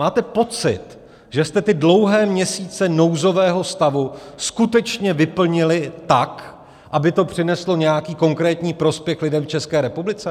Máte pocit, že jste ty dlouhé měsíce nouzového stavu skutečně vyplnili tak, aby to přineslo nějaký konkrétní prospěch lidem v České republice?